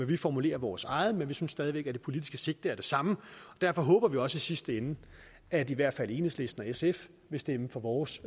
vi formulerer vores eget forslag men vi synes stadig væk at det politiske sigte er det samme derfor håber vi også i sidste ende at i hvert fald enhedslisten og sf vil stemme for vores